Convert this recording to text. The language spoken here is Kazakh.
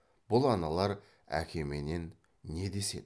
бұл аналар әкеменен не деседі